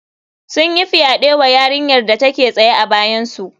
Sun yi fyaɗe wa yarinyar da take tsaye a bayansu